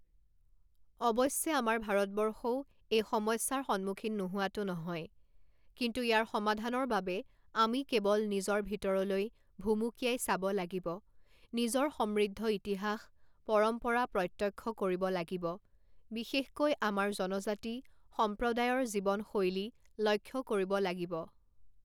অৱশ্যে আমাৰ ভাৰতবৰ্ষও এই সমস্যাৰ সন্মুখীন নোহোৱাটো নহয়, কিন্তু ইয়াৰ সমাধানৰ বাবে আমি কেৱল নিজৰ ভিতৰলৈ ভুমুকিয়াই চাব লাগিব, নিজৰ সমৃদ্ধ ইতিহাস, পৰম্পৰা প্ৰত্যক্ষ কৰিব লাগিব, বিশেষকৈ আমাৰ জনজাতি সম্প্ৰদায়ৰ জীৱন শৈলী লক্ষ্য কৰিব লাগিব।